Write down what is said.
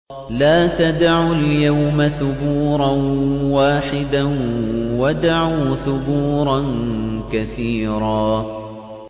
لَّا تَدْعُوا الْيَوْمَ ثُبُورًا وَاحِدًا وَادْعُوا ثُبُورًا كَثِيرًا